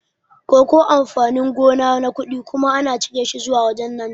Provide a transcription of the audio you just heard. Koko amfani gona na kuɗi kuma ana cire shi zuwa wajan Nijeriya